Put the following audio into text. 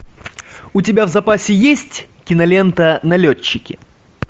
у тебя в запасе есть кинолента налетчики